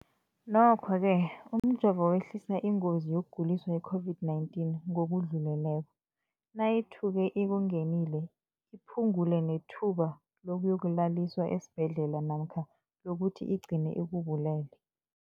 Nokho-ke umjovo wehlisa ingozi yokuguliswa yi-COVID-19 ngokudluleleko, nayithuke ikungenile, iphu ngule nethuba lokuyokulaliswa esibhedlela namkha lokuthi igcine ikubulele.